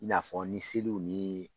I n'a fɔ ni seliw ni